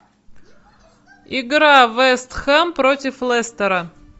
игра вест хэм против лестера